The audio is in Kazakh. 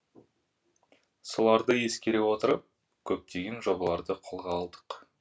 соларды ескере отырып көптеген жобаларды қолға алдық